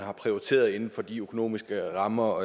har prioriteret inden for de økonomiske rammer